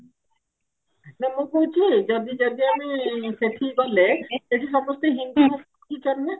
ନା ମୁଁ କହକୁହି ଯଦି ଯଦି ଆମେ ସେଠି ଗଲେ ସେଠି ସମସ୍ତେ ହିନ୍ଦୀ ବୁଝୁଛନ୍ତି ନା